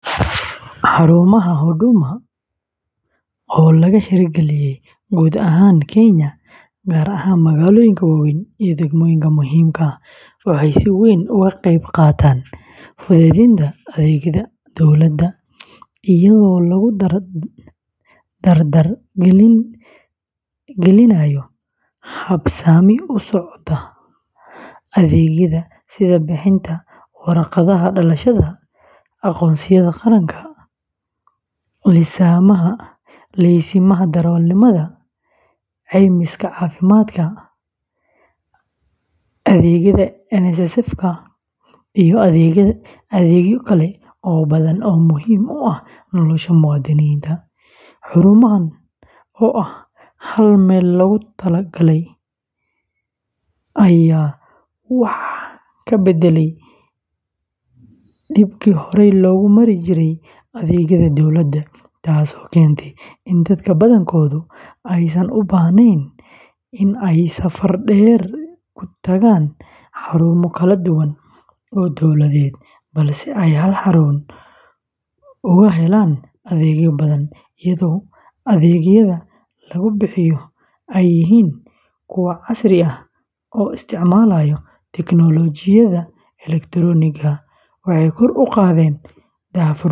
Xarumaha Huduma, oo laga hirgeliyey guud ahaan Kenya, gaar ahaan magaalooyinka waaweyn iyo degmooyinka muhiimka ah, waxay si weyn uga qayb qaataan fududeynta adeegyada dowladda iyadoo lagu dardar gelinayo habsami u socodka adeegyada sida bixinta warqadaha dhalashada, aqoonsiyada qaranka, liisamada darawalnimada, caymiska caafimaadka, adeegyada NSSFka, iyo adeegyo kale oo badan oo muhiim u ah nolosha muwaadiniinta; xarumahan oo ah hal-meel-loogu-talo-galay ayaa wax ka beddelay dhibkii horey loogu marin jirey adeegyada dowladda, taasoo keentay in dadka badankoodu aysan u baahnayn in ay safar dheer ku tagaan xarumo kala duwan oo dawladeed, balse ay hal xarun uga helaan adeegyo badan; iyadoo adeegyada lagu bixiyo ay yihiin kuwo casri ah oo isticmaalaya tiknoolajiyada elektaroonigga ah, waxay kor u qaadeen daahfurnaanta.